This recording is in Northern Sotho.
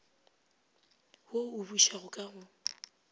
wo o bušago ka go